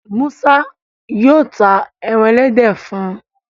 Musa yíò tá èràn elédè fún.